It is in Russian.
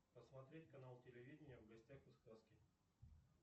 посмотреть канал телевидения в гостях у сказки